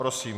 Prosím.